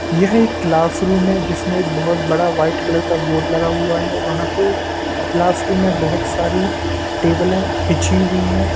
यह एक क्लासरूम है जिसमें एक बहुत बड़ा व्हाइट कलर का बोर्ड लगा हुआ है वहा पे क्लासरूम में बहुत सारी टेबले बिछी हुई हैं।